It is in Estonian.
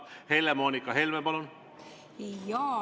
Helle‑Moonika Helme, palun!